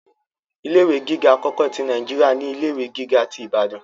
Ilé ìwé gíga akọkọ ti Naijiria ni ilé ìwé gíga tí Ìbàdàn.